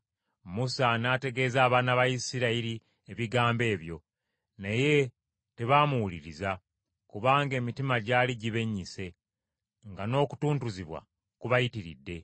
Musa n’ategeeza abaana ba Isirayiri ebigambo ebyo. Naye tebaamuwuliriza, kubanga emitima gyali gibennyise, nga n’okutuntuzibwa kubayitiridde.